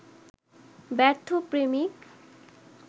ব্যর্থ প্রেমিক